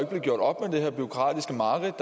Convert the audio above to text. blive gjort op med det her bureaukratiske mareridt